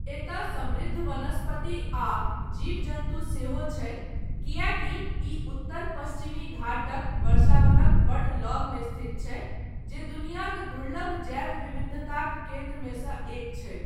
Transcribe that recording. एतय समृद्ध वनस्पति आ जीव जन्तु सेहो छै, कियैकि ई उत्तर पश्चिमी घाटक वर्षावनक बड्ड लगमे स्थित छै, जे दुनियाक दुर्लभ जैव विविधताक केन्द्रमे सऽ एक छै।